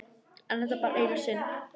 En bara þetta eina sinn.